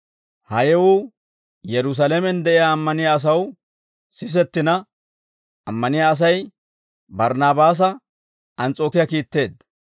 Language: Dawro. Ha yewuu Yerusaalamen de'iyaa ammaniyaa asaw sisettina, ammaniyaa Asay Barnaabaasa Ans's'ookiyaa kiitteedda.